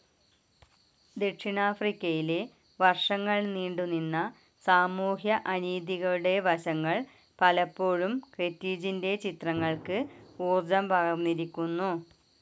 ദക്ഷിണാഫ്രിക്കയിലെ വർഷങ്ങൾ നീണ്ടുനിന്ന സാമൂഹ്യ അനീതികളുടെ വശങ്ങൾ പലപ്പോഴും കെന്റ്രീജിന്റെ ചിത്രങ്ങൾക്ക് ഊർജം പകർന്നിരിക്കുന്നു.